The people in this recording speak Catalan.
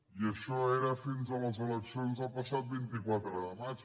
i això era fins a les eleccions del passat vint quatre de maig